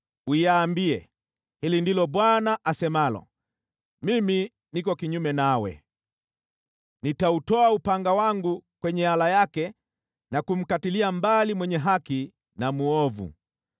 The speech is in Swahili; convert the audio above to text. uiambie: ‘Hili ndilo Bwana asemalo: Mimi niko kinyume nawe. Nitautoa upanga wangu kwenye ala yake na kumkatilia mbali mwenye haki na mwovu.